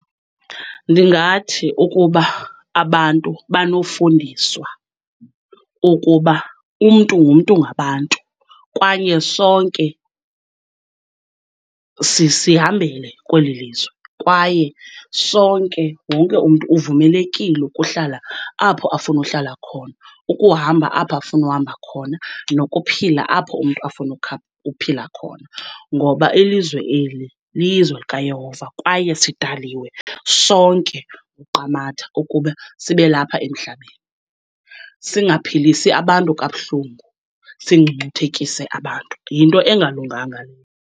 Ndingathi ukuba abantu banofundiswa ukuba umntu ngumntu ngabantu kwaye sonke sihambele kweli lizwe, kwaye sonke, wonke umntu uvumelekile ukuhlala apho afuna uhlala khona, ukuhamba apho afuna uhamba khona nokuphila apho umntu afuna uphila khona. Ngoba ilizwe eli lilizwe likaYehova kwaye sidaliwe sonke nguQamata ukuba sibe lapha emhlabeni. Singaphilisi abantu kabuhlungu, singcungcuthekise abantu, yinto engalunganga leyo.